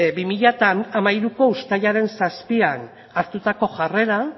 bi mila hamairuko uztailaren zazpian hartutako jarrera